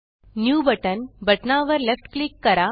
new button बटना वर left click करा